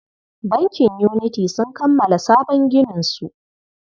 Bankin Unity sun kammala sabon gininsu.